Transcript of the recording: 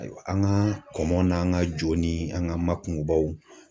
An ka kɔmɔ n'an ka jo ni an ga makunbaw